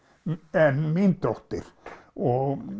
en mín dóttir og